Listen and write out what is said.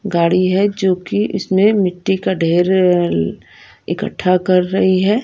गाड़ी है जो कि इसमें मिट्टी का ढेर र इकट्ठा कर रही है।